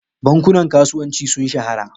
Bankunan kasuwanci sun shahara.